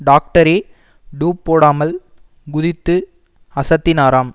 டாக்டரே டூப் போடாமல் குதித்து அசத்தினாராம்